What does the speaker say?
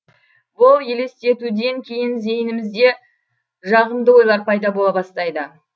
бұл елестетуден кейін зейінімізде жағымды ойлар пайда бола бастайды